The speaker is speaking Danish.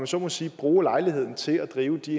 så må sige bruge lejligheden til at drive de